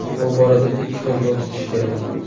Bu borada ikki xil yo‘l tutish kerak.